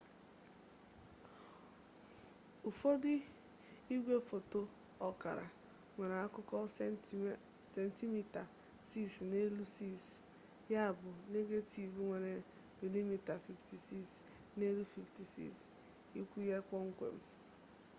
ụfọdụ igwe foto ọkara nwere akụkụ sentimita 6 n'elu 6 ya bụ negetiv nwere milimita 56 n'elu 56 ikwu ya kpọmkwem